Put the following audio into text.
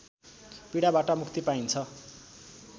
पीडाबाट मुक्ति पाइन्छ